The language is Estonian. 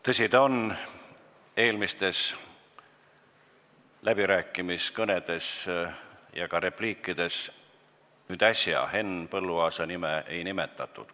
Tõsi ta on, et eelmistes läbirääkimiskõnedes ja ka repliikides Henn Põlluaasa nime ei nimetatud.